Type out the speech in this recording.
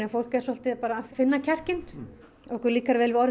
fólk er svolítið bara að finna kjarkinn okkur líkar vel við orðið